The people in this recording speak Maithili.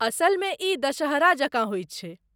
असलमे, ई दशहरा जकाँ होयत छै।